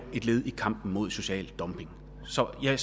et led i kampen mod social dumping så jeg er